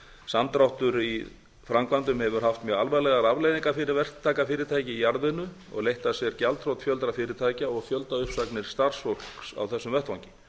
samdráttur í framkvæmdum hefur haft mjög alvarlegar afleiðingar fyrir verktakafyrirtæki í jarðvinnu og leitt af sér gjaldþrot fjölda fyrirtækja og fjöldauppsagnir starfsfólks á þessum vettvangi